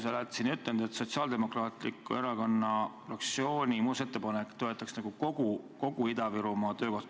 Sa oled siin ütelnud, et Sotsiaaldemokraatliku Erakonna fraktsiooni muudatusettepanek toetaks nagu kogu Ida-Virumaa töökohti.